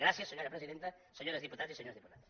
gràcies senyora presidenta senyores diputades i senyors diputats